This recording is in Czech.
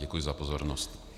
Děkuji za pozornost.